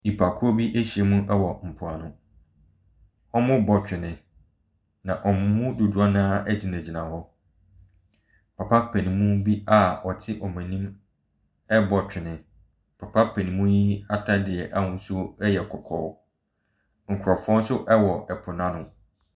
Nnipakuo bi ahyiam wɔ mpoano. Wɔrebɔ twene. Na wɔn mu dodoɔ no ara gyingyina hɔ. Papa paninmu bi a ɔte wɔn anim rebɔ twene. Papa paninmu ataadeɛ ahosuo yɛ kɔkɔɔ. Nkrɔfoɔ nso wɔ po no ano.